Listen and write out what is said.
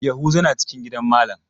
Yahuza na cikin gidan malam.